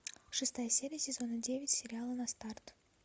шестая серия сезона девять сериала на старт